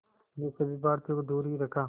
ने सभी भारतीयों को दूर ही रखा